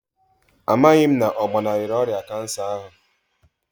A maghị m na ọ gbanarịrị ọrịa kansa ahụ